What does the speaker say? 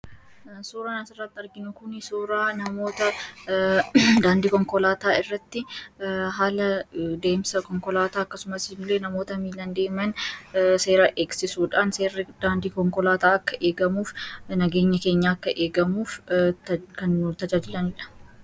Suuraan asirratti arginu kun suuraa namoota daandii konkolaataarratti haala deemsa konkolaataa akkasumas illee namoota miilaan deeman seera eegsisuudhaan seerri daandii konkolaataa akka eegamuuf nageenya keenyaaf eegamuuf kan tajaajilanidha.